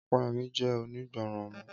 Ọpẹ́yẹmí jẹ́ onígbọràn ọmọ